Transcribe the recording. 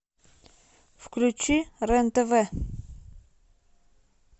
включи рен тв